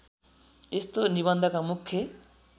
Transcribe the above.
यस्तो निबन्धका मुख्य